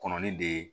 Kɔnɔ ni de ye